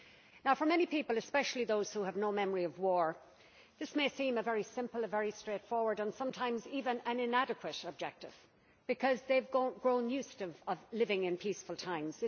Now, for many people, especially those who have no memory of war, this may seem a very simple, a very straightforward, and sometimes even an inadequate objective because they have grown used to living in peaceful times.